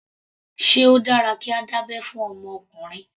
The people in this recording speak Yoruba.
Sé ó dára kí a dá abẹ́ fún ọmọ ọkùnrin.